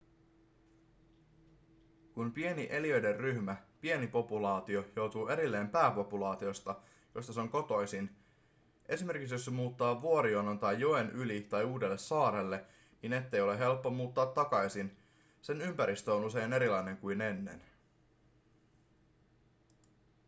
kun pieni eliöiden ryhmä pieni populaatio joutuu erilleen pääpopulaatiosta josta se on kotoisin esimerkiksi jos se muuttaa vuorijonon tai joen yli tai uudelle saarelle niin ettei ole helppo muuttaa takaisin sen ympäristö on usein erilainen kuin ennen